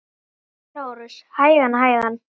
LÁRUS: Hægan, hægan!